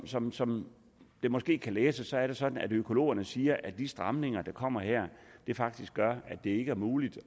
som som det måske kan læses er det sådan at økologerne siger at de stramninger der kommer her faktisk gør at det ikke er muligt